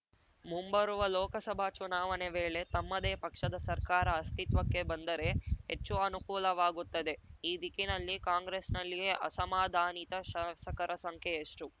ಮುಂಬರುವ ಲೋಕಸಭಾ ಚುನಾವಣೆ ವೇಳೆ ತಮ್ಮದೇ ಪಕ್ಷದ ಸರ್ಕಾರ ಅಸ್ತಿತ್ವಕ್ಕೆ ಬಂದರೆ ಹೆಚ್ಚು ಅನುಕೂಲವಾಗುತ್ತದೆ ಈ ದಿಕ್ಕಿನಲ್ಲಿ ಕಾಂಗ್ರೆಸ್‌ನಲ್ಲಿಯ ಅಸಮಾಧಾನಿತ ಶಾಸಕರ ಸಂಖ್ಯೆ ಎಷ್ಟು